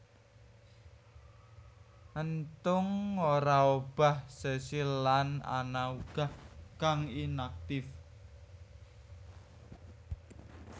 Enthung ora obah sesil lan ana uga kang inaktif